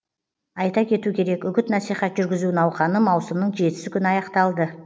айта кету керек үгіт насихат жүргізу науқаны маусымның жетісі күні аяқталды